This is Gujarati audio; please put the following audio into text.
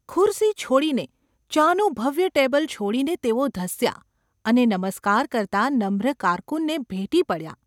ખુરશી છોડીને, ચાનું ભવ્ય ટેબલ છોડીને તેઓ ધસ્યા ​ અને નમસ્કાર કરતા નમ્ર કારકુનને ભેટી પડ્યા.